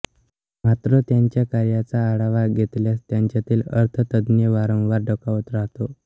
मात्र त्यांच्या कार्याचा आढावा घेतल्यास त्यांच्यातील अर्थतज्ज्ञ वारंवार डोकावत राहतो